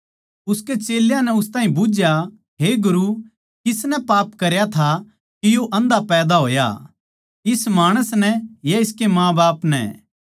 उसके चेल्यां नै उसतै बुझ्झया हे गुरु किसनै पाप करया था के यो आंधा पैदा होया इस माणस नै या इसकै माँबाप नै